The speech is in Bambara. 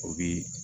O bi